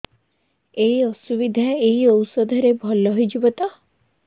ଏଇ ଅସୁବିଧା ଏଇ ଔଷଧ ରେ ଭଲ ହେଇଯିବ ତ